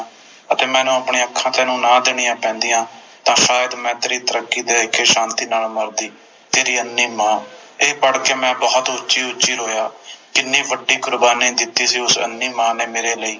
ਅਤੇ ਮੈਨੂੰ ਆਪਣੀਆਂ ਅੱਖਾਂ ਤੈਨੂੰ ਨਾ ਦੇਣੀਆਂ ਪੈਂਦੀਆਂ ਤਾ ਅੱਜ ਮੈਂ ਤੇਰੀ ਤਰੱਕੀ ਦੇਖ ਕੇ ਸ਼ਾਂਤੀ ਨਾਲ ਮਰਦੀ ਤੇਰੀ ਅੰਨ੍ਹੀ ਮਾਂ ਤੇ ਮੈਂ ਇਹ ਪੜ੍ਹ ਕੇ ਬੋਹੋਤ ਉੱਚੀ ਉੱਚੀ ਰੋਇਆ ਕਿੰਨੀ ਵੱਡੀ ਕੁਰਬਾਨੀ ਦਿੱਤੀ ਸੀ ਉਸ ਅੰਨ੍ਹੀ ਮਾਂ ਨੇ ਮੇਰੇ ਲਈ